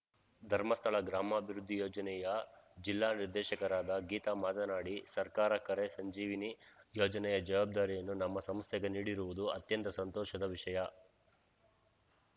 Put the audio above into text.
ಧರ್ಮಸ್ಥಳ ಗ್ರಾಮಾಭಿವೃದ್ಧಿ ಯೋಜನೆಯ ಜಿಲ್ಲಾ ನಿರ್ದೇಶಕರಾದ ಗೀತ ಮಾತನಾಡಿ ಸರ್ಕಾರ ಕೆರೆ ಸಂಜೀವಿನಿ ಯೋಜನೆಯ ಜವಾಬ್ದಾರಿಯನ್ನು ನಮ್ಮ ಸಂಸ್ಥೆಗೆ ನೀಡಿರುವುದು ಅತ್ಯಂತ ಸಂತೋಷದ ವಿಷಯ